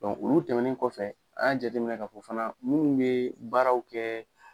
olu tɛmɛnen kɔfɛ an y'a jateminɛ ka fɔ fana munnu be baaraw kɛ